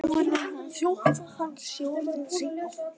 Nú verði hann að þjóta, hann sé orðinn seinn á fund.